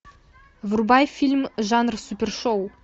врубай фильм жанр супершоу